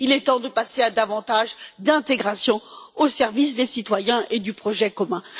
Il est temps de passer à plus d'intégration au service des citoyens et du projet commun.